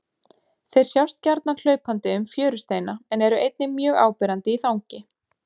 Þeir sjást gjarnan hlaupandi um fjörusteina en eru einnig mjög áberandi í þangi.